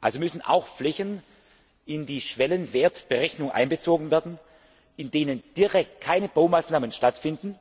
Also müssen auch Flächen in die Schwellenwertberechnung einbezogen werden, in denen direkt keine Baumaßnahmen stattfinden,